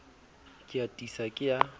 ke a tiisa ke a